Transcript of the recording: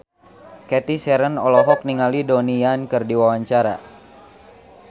Cathy Sharon olohok ningali Donnie Yan keur diwawancara